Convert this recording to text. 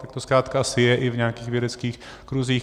Tak to zkrátka asi je i v nějakých vědeckých kruzích.